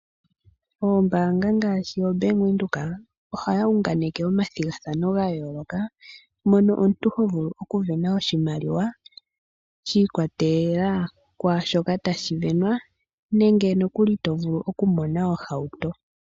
Oombaanga ngaashi obank Windhoek ohaya unganeke omathigathano ga yooloka, mono tovulu okusindana oshimaliwa shi ikwatelela kwaa shoka tashi sindanwa, nenge nokuli tovulu okusindana ohauto.